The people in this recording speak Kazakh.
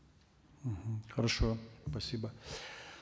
мхм хорошо спасибо